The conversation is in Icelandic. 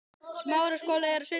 Kona ekki ósvipuð mörgum öðrum.